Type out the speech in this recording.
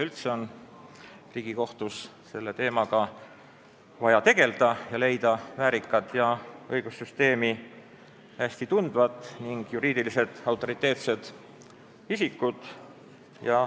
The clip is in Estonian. Üldse on Riigikohtus selle teemaga vaja tegelda ning leida väärikad ja õigussüsteemi hästi tundvad, samuti juriidiliselt autoriteetsed isikud.